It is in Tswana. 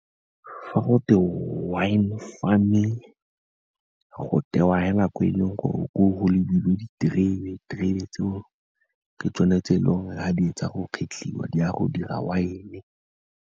Fa go te wine farming, go tewa fela ko e leng gore o go lebilwe diterebe, diterebe tseo ke tsone tse e leng gore fa di fetsa go kgetlhiwa di a go dira wine-e.